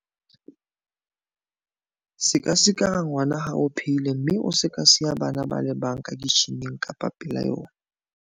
Se ka sikara ngwana ha o phehile mme o se ka siya bana ba le bang ka kitjhining kapa pela yona.